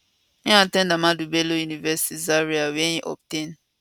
im at ten d ahmadu bello university zaria wia im obtain